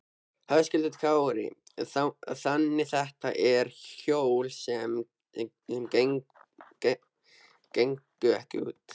Höskuldur Kári: Þannig þetta eru hjól sem gengu ekki út?